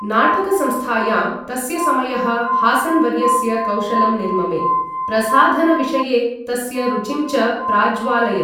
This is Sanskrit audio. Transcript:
नाटकसंस्थायां तस्य समयः हासन् वर्यस्य कौशलं निर्ममे, प्रसाधनविषये तस्य रुचिं च प्राज्वालयत्।